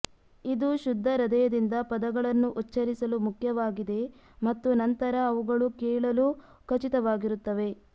ಇದು ಶುದ್ಧ ಹೃದಯದಿಂದ ಪದಗಳನ್ನು ಉಚ್ಚರಿಸಲು ಮುಖ್ಯವಾಗಿದೆ ಮತ್ತು ನಂತರ ಅವುಗಳು ಕೇಳಲು ಖಚಿತವಾಗಿರುತ್ತವೆ